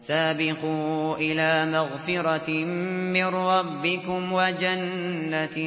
سَابِقُوا إِلَىٰ مَغْفِرَةٍ مِّن رَّبِّكُمْ وَجَنَّةٍ